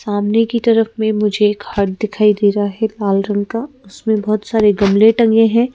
सामने की तरफ में मुझे घर दिखाई दे रा है लाल रंग का। उसमें बहोत सारे गमले टंगे है।